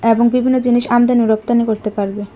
এবং বিভিন্ন জিনিস আমদানি রপ্তানি করতে পারবে।